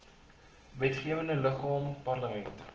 wetgewende liggaam parlement